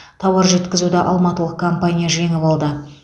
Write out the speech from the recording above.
тауар жеткізуді алматылық компания жеңіп алды